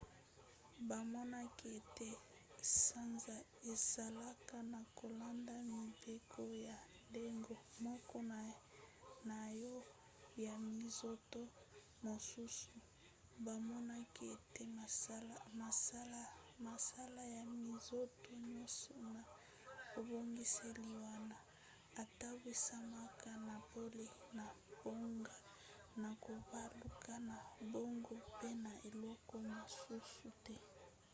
bamonaki ete sanza esalaka na kolanda mibeko ya ndenge moko na oyo ya minzoto mosusu: bamonaki ete mosala ya minzoto nyonso na ebongiseli wana etambwisamaka na pole na bango na kobaluka na bango pe na eloko mosusu te